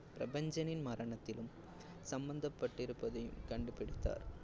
பிரபஞ்சனின் மரணத்திலும் சம்மந்தப்பட்டிருப்பதையும் கண்டுபிடித்தார்.